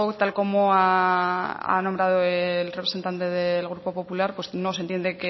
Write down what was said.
tal como ha nombrado el representante del grupo popular no se entiende